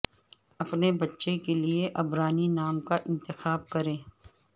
اپنے بچے کے لئے عبرانی نام کا انتخاب کریں